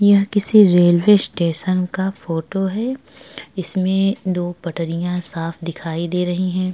यह किसी railway station का फोटो है। इसमें दो पटरियां साफ़ दिखाई दे रही हैं।